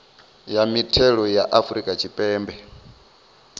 ya mithelo ya afrika tshipembe